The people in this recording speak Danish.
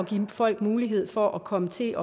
give folk mulighed for at komme til